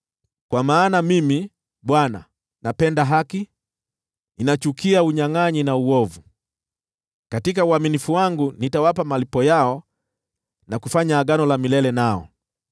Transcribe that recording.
“Kwa maana Mimi, Bwana , napenda haki, na ninachukia unyangʼanyi na uovu. Katika uaminifu wangu nitawapa malipo yao na kufanya agano la milele nao.